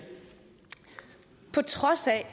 på trods af at